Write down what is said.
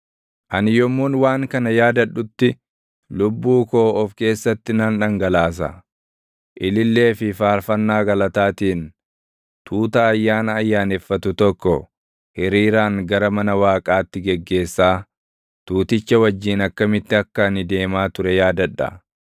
Ani yommuun waan kana yaadadhutti, lubbuu koo of keessatti nan dhangalaasa: ilillee fi faarfannaa galataatiin tuuta ayyaana ayyaaneffatu tokko, hiriiraan gara mana Waaqaatti geggeessaa tuuticha wajjin akkamitti akka ani deemaa ture yaadadha.